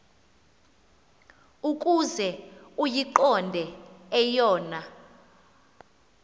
ukuze uyiqonde eyona